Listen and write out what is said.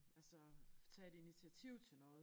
Altså tage et initiativ til noget